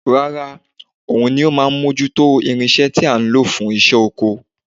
Rárá, òun ni ó máa ń mójú tó irinṣẹ́ tí a ń lò fún iṣẹ́ oko